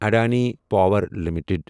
Adani power limited